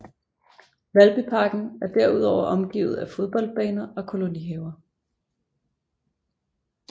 Valbyparken er derudover omgivet af fodboldbaner og kolonihaver